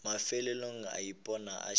mafelelong a ipona a šetše